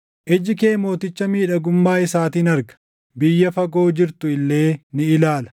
Iji kee mooticha miidhagummaa isaatiin arga; biyya fagoo jirtu illee ni ilaala.